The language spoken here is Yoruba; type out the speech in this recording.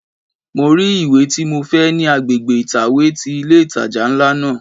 Mo rí ìwé tí mo fẹ́ ní agbègbè ìtàwé ti ilé ìtajà ńlá náà.